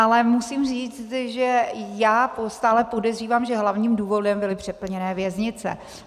Ale musím říct, že já stále podezřívám, že hlavním důvodem byly přeplněné věznice.